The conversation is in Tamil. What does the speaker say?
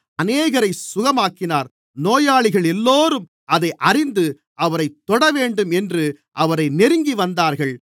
அவர் அநேகரைச் சுகமாக்கினார் நோயாளிகளெல்லோரும் அதை அறிந்து அவரைத் தொடவேண்டும் என்று அவரை நெருங்கிவந்தார்கள்